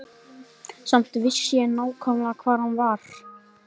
Samt vissi ég nákvæmlega hvar hann var.